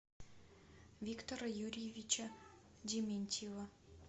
виктора юрьевича дементьева